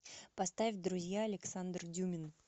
поставь друзья александр дюмин